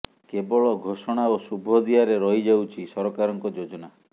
କେବଳ ଘୋଷଣା ଓ ଶୁଭ ଦିଆରେ ରହିଯାଉଛି ସରକାରଙ୍କର ଯୋଜନା